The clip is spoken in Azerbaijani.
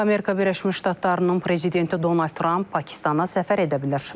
Amerika Birləşmiş Ştatlarının prezidenti Donald Tramp Pakistana səfər edə bilər.